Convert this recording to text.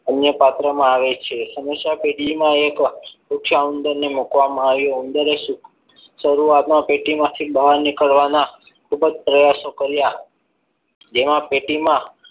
અન્ય પાત્રમાં આવે છે સમસ્યા પેટીમાં એક ઊંચા ઉંદરને મુકવામાં આવે ઉંદરને એક શરૂઆતની પેટીમાંથી બહાર નીકળવાના ખૂબ જ પ્રયાસો કર્યા જેમાં પેટીમાં